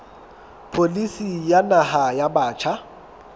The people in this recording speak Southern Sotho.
pholisi ya naha ya batjha